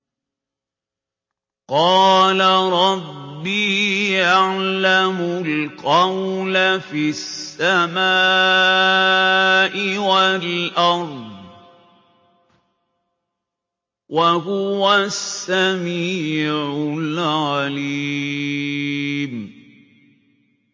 قَالَ رَبِّي يَعْلَمُ الْقَوْلَ فِي السَّمَاءِ وَالْأَرْضِ ۖ وَهُوَ السَّمِيعُ الْعَلِيمُ